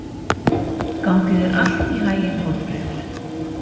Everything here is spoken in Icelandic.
Gangi þér allt í haginn, Hólmfríður.